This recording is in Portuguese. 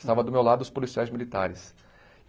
Estava do meu lado os policiais militares.